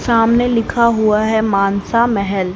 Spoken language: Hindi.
सामने लिखा हुआ है मानसा मेहल।